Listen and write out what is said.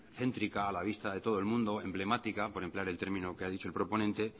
céntrica a la vista de todo el mundo emblemática por emplear el término que ha dicho el proponente